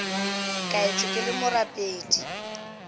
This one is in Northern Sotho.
ka etšwe ke le morapedi